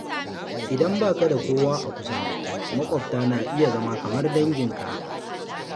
Idan ba ka da kowa a kusa, maƙwabta na iya zama kamar danginka.